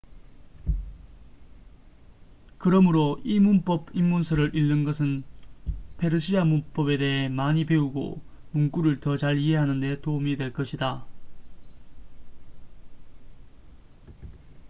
그러므로 이 문법 입문서를 읽는 것은 페르시아 문법에 대해 많이 배우고 문구를 더 잘 이해하는 데 도움이 될 것이다